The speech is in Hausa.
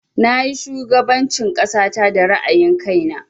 Na yi shugaban cin ƙasata da ra'ayin kai na